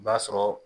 O b'a sɔrɔ